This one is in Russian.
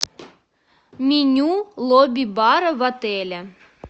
меню лобби бара в отеле